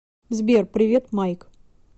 сбер привет майк